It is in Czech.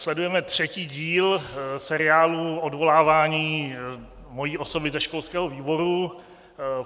Sledujeme třetí díl seriálu odvolávání mojí osoby ze školského výboru.